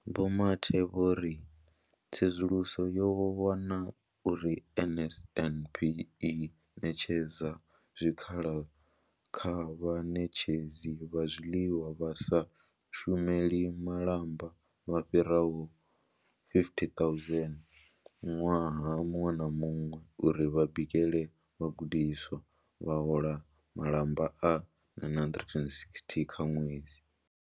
Vho Mathe vho ri tsedzuluso yo wana uri NSNP i ṋetshedza zwikhala kha vhaṋetshedzi vha zwiḽiwa vha sa shumeli malamba vha fhiraho 50 000 ṅwaha muṅwe na muṅwe uri vha bikele vhagudiswa, vha hola malamba a R960 nga ṅwedzi.